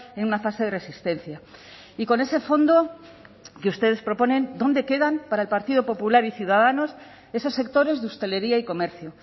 en una fase de resistencia y con ese fondo que ustedes proponen dónde quedan para el partido popular y ciudadanos esos sectores de hostelería y comercio